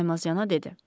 Saymazana dedi.